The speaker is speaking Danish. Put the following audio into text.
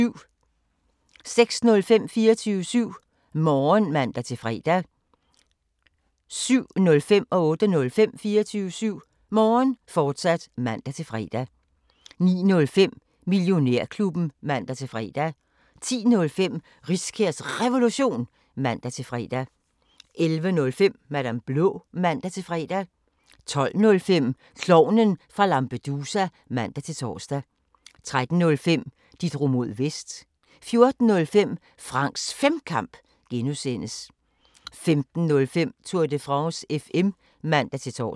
06:05: 24syv Morgen (man-fre) 07:05: 24syv Morgen, fortsat (man-fre) 08:05: 24syv Morgen, fortsat (man-fre) 09:05: Millionærklubben (man-fre) 10:05: Riskærs Revolution (man-fre) 11:05: Madam Blå (man-fre) 12:05: Klovnen fra Lampedusa (man-tor) 13:05: De drog mod Vest 14:05: Franks Femkamp (G) 15:05: Tour de France FM (man-tor)